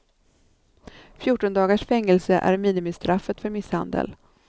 Fjorton dagars fängelse är minimistraffet för misshandel.